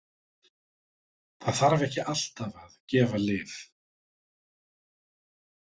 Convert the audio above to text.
Það þarf ekki alltaf að gefa lyf.